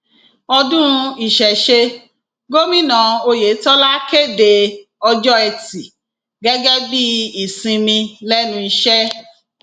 ọdún ìṣẹṣẹ gómìnà ọyẹtọlá kéde ọjọ etí gẹgẹ bíi ìsinmi lẹnu iṣẹ